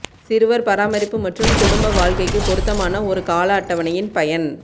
சிறுவர் பராமரிப்பு மற்றும் குடும்ப வாழ்க்கைக்கு பொருத்தமான ஒரு கால அட்டவணையின் பயன்